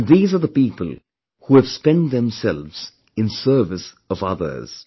And these are the people who have spent themselves in service of others